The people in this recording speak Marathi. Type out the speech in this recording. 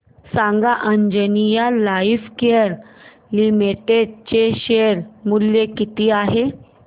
सांगा आंजनेया लाइफकेअर लिमिटेड चे शेअर मूल्य किती आहे